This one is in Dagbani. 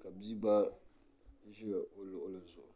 ka bia gba ʒi o luɣuli zuɣu